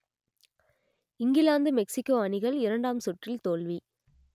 England Mexico அணிகள் இரண்டாம் சுற்றில் தோல்வி